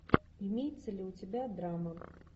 имеется ли у тебя драма